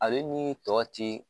Ale ni tɔ ti